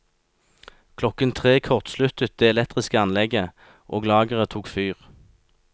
Klokken tre kortsluttet det elektriske anlegget, og lageret tok fyr.